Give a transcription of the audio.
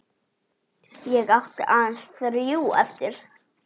Ég átti aðeins þrjú eftir.